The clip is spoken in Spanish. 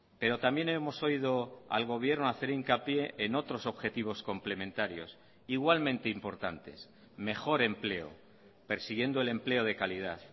pero también hemos oído al gobierno hacer hincapié en otros objetivos complementarios igualmente importantes mejor empleo persiguiendo el empleo de calidad